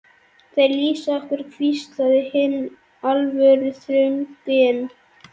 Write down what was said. Þeir lýsa okkur hvíslaði hinn alvöruþrunginn.